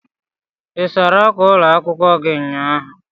Ị sara ákwà ụlọ akwụkwọ gi ụnyahụ?